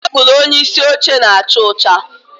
Tebụl onyeisi oche na-acha ọcha